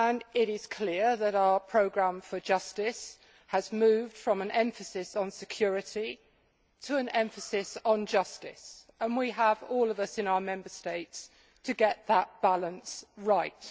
It is clear that our programme for justice has moved from an emphasis on security to an emphasis on justice, and all of us in our Member States have to get that balance right.